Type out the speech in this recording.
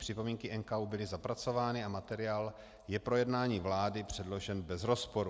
Připomínky NKÚ byly zapracovány a materiál je pro jednání vlády předložen bez rozporu.